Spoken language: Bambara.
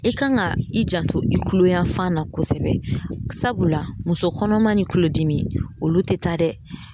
E kan ka i janto i kulo yanfan na kosɛbɛ sabula muso kɔnɔma ni kulodimi olu te taa dɛ